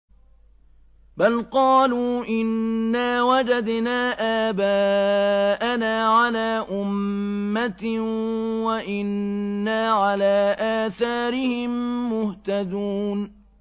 بَلْ قَالُوا إِنَّا وَجَدْنَا آبَاءَنَا عَلَىٰ أُمَّةٍ وَإِنَّا عَلَىٰ آثَارِهِم مُّهْتَدُونَ